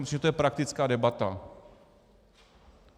Myslím, že je to praktická debata.